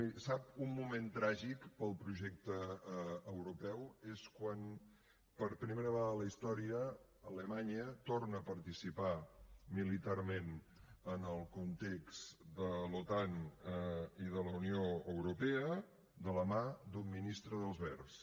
miri un moment tràgic per al projecte europeu és quan per primera vegada en la història alemanya torna a participar militarment en el context de l’otan i de la unió europea de la mà d’un ministre dels verds